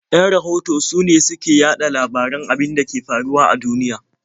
Yan rahoto sune su ke yaɗa labaran abin da ke faruwa a duniya.